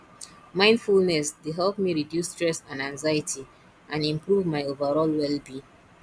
mindfulness dey help me reduce stress and anxiety and improve my overall wellbeing